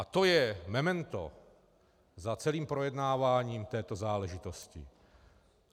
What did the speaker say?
A to je memento za celým projednáváním této záležitosti.